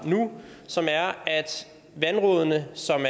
nu som er at vandrådene som